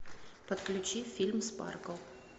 подключи фильм спаркл